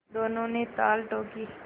दोनों ने ताल ठोंकी